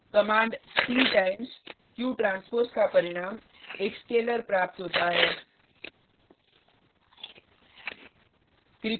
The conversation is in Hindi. कमांड p times qtranspose का परिणाम एक स्केलर प्राप्त होता है: